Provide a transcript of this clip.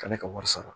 K'ale ka wari sara